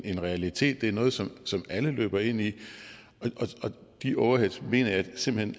en realitet det er noget som som alle løber ind i og de overheads mener jeg simpelt hen